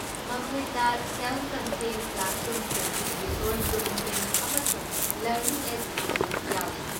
ꯃꯈꯣꯏꯗ self contained ꯀ꯭ꯂꯥꯁꯔꯨꯝꯁꯤꯡ, resource ꯔꯨꯝꯁꯤꯡ ꯑꯃꯁꯨꯡ ꯂꯔꯅꯤꯡ ꯑꯦꯗꯁꯤꯡꯁꯨ ꯌꯥꯎꯔꯤ꯫